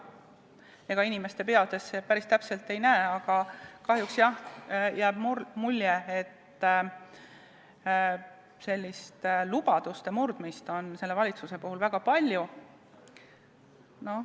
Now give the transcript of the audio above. Ega inimeste peadesse päris täpselt ei näe, aga kahjuks jääb jah mulje, et lubaduste murdmist on selle valitsuse puhul olnud väga palju.